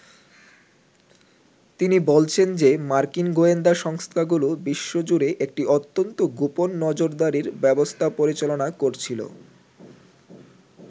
তিনি বলছেন যে মার্কিন গোয়েন্দা সংস্থাগুলো বিশ্বজুড়ে একটি অত্যন্ত গোপন নজরদারির ব্যবস্থা পরিচালনা করছিল।